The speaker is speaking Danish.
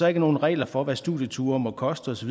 er nogen regler for hvad studieture må koste osv